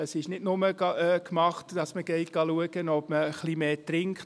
Es ist nicht nur damit getan, dass man schauen geht, ob man ein wenig mehr trinkt.